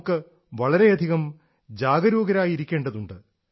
നമുക്ക് വളരെയധികം ജാഗരൂകരായിരിക്കേണ്ടതുണ്ട്